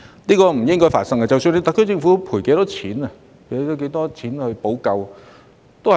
這是不應該發生的，不管特區政府作出多少賠償，亦無法彌補。